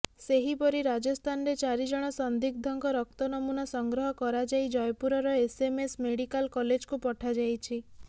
ସେହିପରି ରାଜସ୍ଥାନରେ ଚାରିଜଣ ସନ୍ଦିଗ୍ଧଙ୍କ ରକ୍ତ ନମୂନା ସଂଗ୍ରହ କରାଯାଇ ଜୟପୁରର ଏସଏମଏସ୍ ମେଡିକାଲ କଲେଜକୁ ପଠାଯାଇଛି